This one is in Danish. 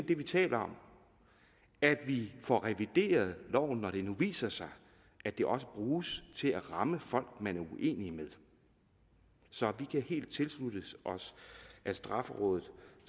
vi taler om at vi får revideret loven når det nu viser sig at den også bruges til at ramme folk man er uenige med så vi kan helt tilslutte os at straffelovrådet